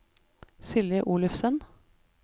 Silje Olufsen